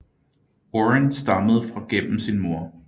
Warren stammede fra gennem sin mor